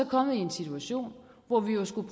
kommet i en situation hvor vi jo skulle